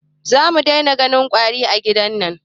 Za mu dai na ganin ƙwari a gidan nan